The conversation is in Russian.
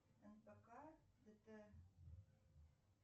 нфк дт